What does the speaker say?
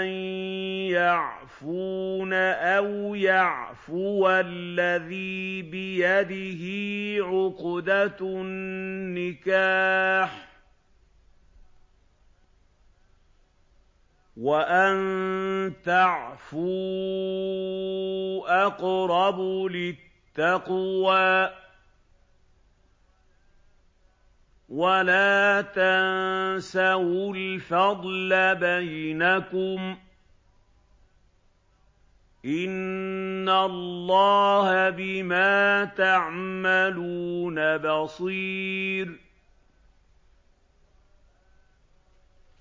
أَن يَعْفُونَ أَوْ يَعْفُوَ الَّذِي بِيَدِهِ عُقْدَةُ النِّكَاحِ ۚ وَأَن تَعْفُوا أَقْرَبُ لِلتَّقْوَىٰ ۚ وَلَا تَنسَوُا الْفَضْلَ بَيْنَكُمْ ۚ إِنَّ اللَّهَ بِمَا تَعْمَلُونَ بَصِيرٌ